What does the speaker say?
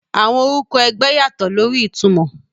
Àwọn orúkọ ẹgbẹ́ yàtọ̀ lórí ìtumọ̀.